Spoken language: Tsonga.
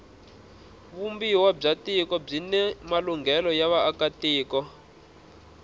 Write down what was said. vumbiwa bya tiko byini malunghelo ya vaaka tiko